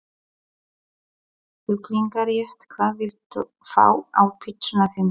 Kjúklinga rétt Hvað vilt þú fá á pizzuna þína?